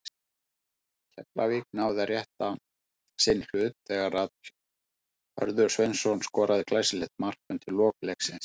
Keflavík náði að rétta sinn hlut þegar Hörður Sveinsson skoraði glæsilegt mark undir lok leiksins.